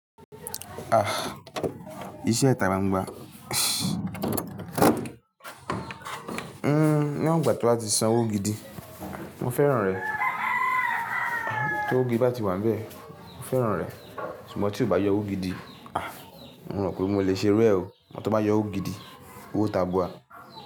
Ah! Iṣẹ́ ita gbangba. Hmm. Níwọn gba tó bá ti san owó gidi, mo fẹ́ràn rẹ̀. Tí owó gidi bá ti wà n bẹ́ẹ̀, mo fẹ́ràn rẹ̀. Ṣùgbọ́n tí o bá yọ owó gidi, ah! Mo rò pé mo lè ṣe irú ẹ o Mó ti bá yọ owó gidi, owó tabua.